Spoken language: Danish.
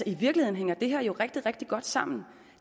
i virkeligheden hænger det her jo rigtig rigtig godt sammen